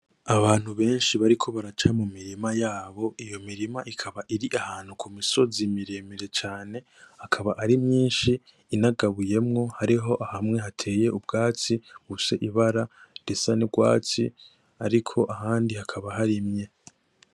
Abantu benshi bariko baraca mumirima yabo , iyo mirima ikaba iri ahantu kumisozi miremire cane, akaba ari myinshi ,inagabuyemwo hariho hamwe hateye ubwatsi bufise ibara risa n'urwatsi ariko ahandi hakaba harimye.